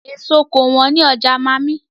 Èso kò wọ́n ní ọjà màmí.